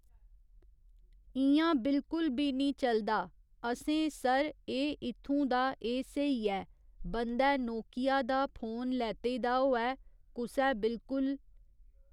इं'या बिल्कुल बी निं चलदा असें सर एह् इत्थूं दा एह् स्हेई ऐ बंदै नोकिया दा फोन लैते दा होऐ कुसै बिल्कुल